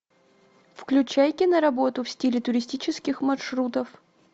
включай киноработу в стиле туристических маршрутов